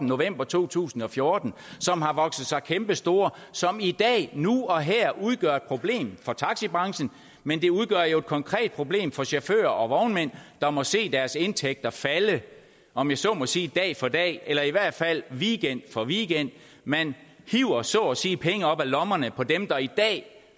november to tusind og fjorten som har vokset sig kæmpestore som i dag nu og her udgør et problem for taxibranchen men det udgør jo et konkret problem for chauffører og vognmænd der må se deres indtægter falde om jeg så må sige dag for dag eller i hvert fald weekend for weekend man hiver så at sige penge op af lommerne på dem der i dag